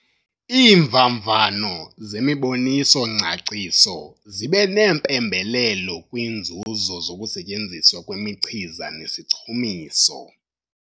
Iimvavanyo zemiboniso-ngcaciso zibe neempembelelo kwiinzuzo zokusetyenziswa kwemichiza nesichumiso.